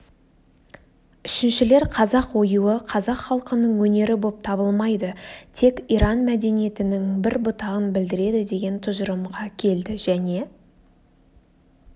үщіншілер қазақ оюы қазақ халқының өнері боп табылмайды тек иран мәдениетінің бір бұтағын білдіреді деген тұжырымға келді және